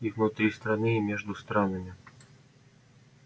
и внутри страны и между странами